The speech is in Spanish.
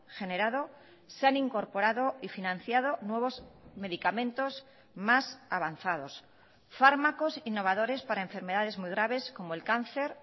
generado se han incorporado y financiado nuevos medicamentos más avanzados fármacos innovadores para enfermedades muy graves como el cáncer